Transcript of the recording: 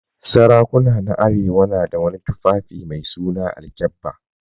Sarakuna na arewa na su wani tufaffi mai suna alkyabba.